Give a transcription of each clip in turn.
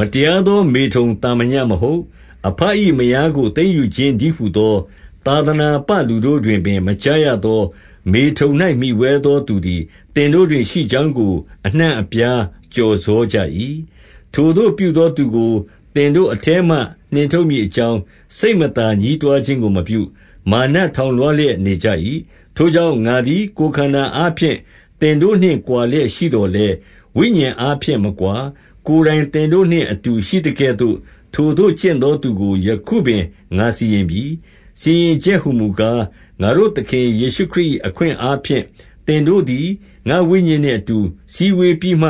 မတရားသောမေထုန်သာမညမဟုတ်၊ အဘ၏ မယားကို သိမ်းယူခြင်းတည်းဟူသော သာသနာပလူတို့ တွင်ပင် မကြားရသော မေထုန်၌မှီဝဲသော သူသည် သင်တို့တွင် ရှိကြောင်းကို အနှံ့အပြားကျော်စောကြ၏။ 2 ထိုသို့ပြုသောသူကို သင်တို့အထဲမှ နှင်ထုတ်မည် အကြောင်း၊ စိတ်မသာ ညည်းတွားခြင်းကိုမပြု၊ မာန ထောင်လွှားလျက် နေကြ၏။ 3 ထိုကြောင့် ငါသည် ကိုယ်ခန္ဓာအားဖြင့် သင်တို့နှင့်ကွာလျက် ရှိသော်လည်း၊ ဝိညာဉ်အားဖြင့် မကွာ၊ ကိုယ်တိုင်သင်တို့နှင့် အတူရှိသကဲ့သို့ ထိုသို့ကျင့်သောသူကို ယခုပင်ငါစီရင်ပြီ။ 4 စီရင်ချက်ဟူမူကား၊ ငါတို့သခင်ယေရှုခရစ်၏ အခွင့်အားဖြင့် သင်တို့သည် ငါ့ဝိညာဉ်နှင့်အတူ စည်းဝေးပြီးမှ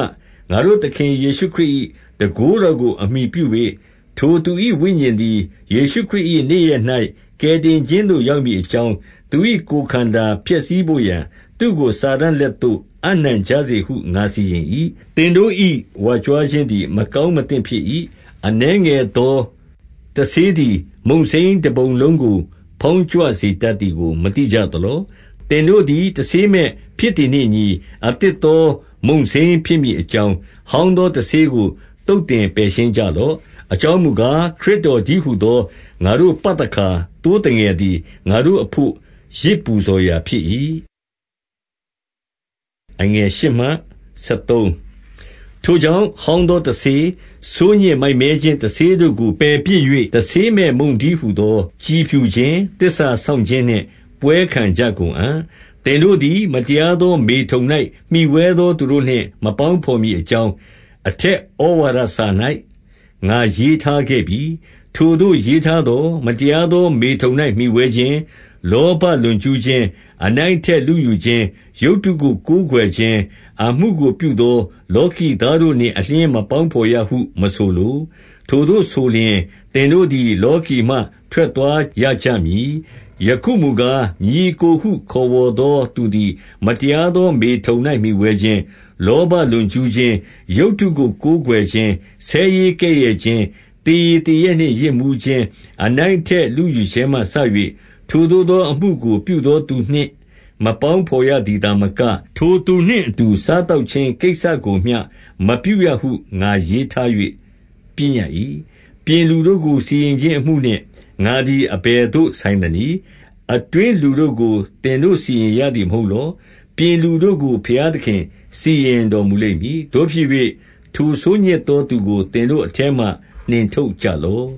ငါတို့သခင် ယေရှုခရစ်၏ တန်ခိုးတော်ကို အမှီပြု၍၊ 5 ထိုသူ၏ဝိညာဉ်သည် ယေရှုခရစ်၏နေ့ရက်၌ ကယ်တင်ခြင်းသို့ ရောက်မည်အကြောင်း၊ သူ၏ကိုယ်ခန္ဓာ ပျက်စီးဘို့ရာ သူ့ကိုစာတန်လက်သို့ အပ်နှံကြစေဟု ငါစီရင်၏။ 6 သင်တို့၏ ဝါကြွားခြင်းသည် မကောင်းမသင့် ဖြစ်၏။ အနည်းငယ်သောတဆေးသည် မုန့်စိမ်းတပုံလုံး ကို ဖောင်းကြွစေတတ်သည်ကို မသိကြသလော။ 7 သင်တို့သည် တဆေးမဲ့ဖြစ်သည်နှင့်အညီ၊ အသစ်သော မုန့်စိမ်းဖြစ်မည်အကြောင်း၊ ဟောင်းသော တဆေးကို သုတ်သင်ပယ်ရှင်းကြလော့။ အကြောင်းမူ ကား၊ ခရစ်တော်တည်းဟူသော ငါတို့ပသခါ သိုးသငယ် သည် ငါတို့အဘို့ ယဇ်ပူဇော်ရာဖြစ်၏။ 8 ထိုကြောင့်၊ ဟောင်းသောတဆေး၊ ဆိုးညစ် မိုက်မဲခြင်းတဆေးတို့ကို ပယ်ပစ်၍၊ တဆေးမဲ့မုန့်တည်း ဟူသော ကြည်ဖြူခြင်း၊ သစ္စာစောင့် ခြင်းနှင့်ပွဲခံကြ ကုန်အံ့။ 9 သင်တို့သည် မတရားသော မေထုန်၌ မှီဝဲသော သူတို့နှင့် မပေါင်းဘော်မည်အကြောင်း၊ အထက်ဩဝါဒ စာ၌ ငါရေးထားခဲ့ပြီ။ 10 ထိုသို့ရေးထားသော်၊ မတရားသော မေထုန်၌ မှီဝဲခြင်း၊ လောဘလွန်ကျူးခြင်း၊ အနိုင်အထက်လုယူခြင်း၊ ရုပ်တုကိုကိုးကွယ်ခြင်းအမှုကို ပြုသော လောကီသားတို့ နှင့်အလျှင်း မပေါင်းဘော်ရဟုမဆိုလို။ ထိုသို့ဆိုလျှင်၊ သင်တို့သည်လောကီမှ ထွက်သွားရကြမည်။ 11 ယခုမူကား ညီအစ်ကိုဟု ခေါ်ဝေါ်သော သူသည် မတရားသော မေထုန်၌မှီဝဲခြင်း၊ လောဘ လွန်ကျူးခြင်း၊ ရုပ်တုကိုးကွယ်ခြင်း၊ ဆဲရေးကဲ့ရဲ့ခြင်း၊ သေရည်သေရက်နှင့် ယစ်မူးခြင်း၊ အနိုင်အထက်လုယူ ခြင်းမှစ၍၊ ထိုသို့သောအမှုကို ပြုသောသူနှင့်မပေါင်း ဘော်ရသည်သာမက၊ ထိုသူနှင့် အတူစားသောက်ခြင်း ကိစ္စကိုမျှ မပြုရဟုငါရေးထား၍ ပညတ်၏။ 12 ပြင်လူတို့ကို စီရင်ခြင်းအမှုနှင့် ငါသည် အဘယ်သို့ ဆိုင်သနည်း။ အတွင်းလူတို့ကို သင်တို့စီရင်ရသည် မဟုတ်လော။ 13 ပြင်လူတို့ကို ဘုရားသခင်စီရင်တော်မူလိမ့်မည်။ သို့ဖြစ်၍ ထိုဆိုးညစ်သောသူကိုသင်တို့အထဲမှ နှင်ထုတ် ကြလော့